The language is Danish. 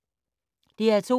DR2